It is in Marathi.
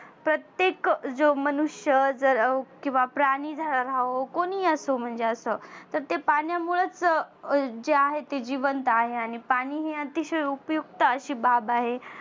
प्रत्येक मनुष्य जर अं किंवा प्राणी झ कोणी असो म्हणजे असं. तर ते पाण्यामुळच जे आहे ते जिवनदा आहे. आणि पाणी आतिशय उपयुक्त आशी बाब आहे.